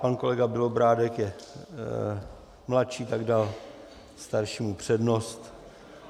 Pan kolega Bělobrádek je mladší, tak dal staršímu přednost.